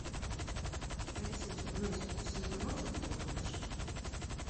алиса узнай всю информацию про кухню в нашем отеле